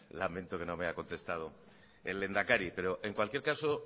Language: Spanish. lamento que no me ha contestado el lehendakari pero en cualquier caso